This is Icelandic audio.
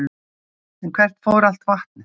En hvert fór allt vatnið?